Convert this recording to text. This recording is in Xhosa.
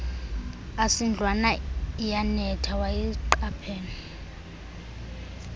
asindlwana iyanetha wayiqaphela